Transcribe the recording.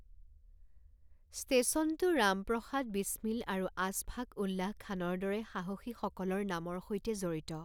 ষ্টেচনটো ৰাম প্ৰসাদ বিছমিল আৰু আশফাক উল্লাহ খানৰ দৰে সাহসীসকলৰ নামৰ সৈতে জড়িত।